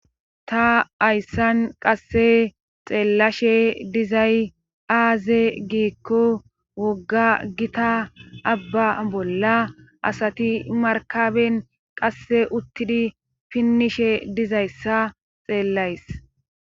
ta hayssan qasse xeellashe dizay aaze giikko wogga gita abba bolla asati markaben qasse uttidi pinnishe dizayssa xeellays